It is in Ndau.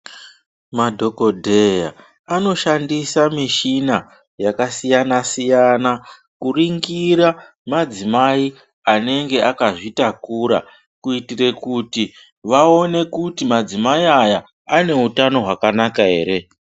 Madhokodheya anoshandisa mishina yaka siyana siyana ku ringira madzimai anenge akazvi takura kuitire kuti vaone kuti madzimai aya ane utano hwakanaka ere.